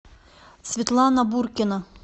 светлана буркина